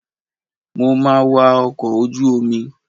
Mo ma wa ọkọ̀ ojú omi.